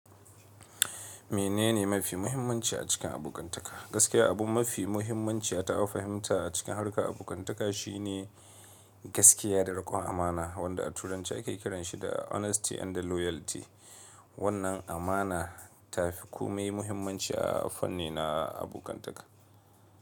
Menene mafi muhimmanci a cikin abokantaka? Gaskiya, abun mafi muhimmanci da aka fahimta a cikin harka abokantaka shi ne gaskiya da riƙon amana, wanda a Turanci ake kiranshi da honesty and loyalty. Wannan amana ta fi kome muhimmanci a fanni na abokantaka.